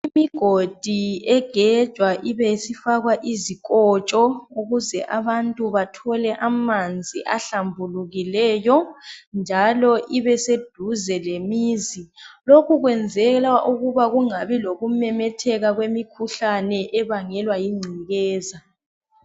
Imigodi egejwa ibe isifakwa izikotsho ukuze abantu bathole amanzi ahlumbulukileyo njalo ibe seduze lemizi lokhu kwenzelwa ukuba kungabi lokumemetheka kwemikhuhlane ebangelwa yingcekeza.